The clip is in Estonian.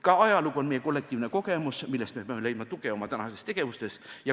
Ka ajalugu on meie kollektiivne kogemus, millest me peame leidma tuge oma tänastes tegevustes.